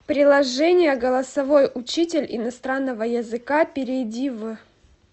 приложение голосовой учитель иностранного языка перейди в